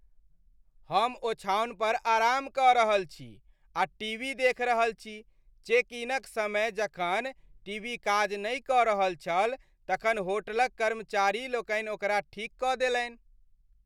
हम ओछाओन पर आराम कऽ रहल छी आ टीवी देखि रहल छी। चेक इनक समय जखन टीवी काज नहि कऽ रहल छल तखन होटलक कर्मचारी लोकनि ओकरा ठीक कऽ देलनि।